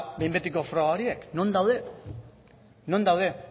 behinbetiko froga horiek non daude non daude